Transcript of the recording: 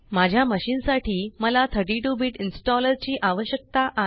माझ्या मशीन साठी मला 32 बिट इन्स्टॉलर ची आवश्यकता आहे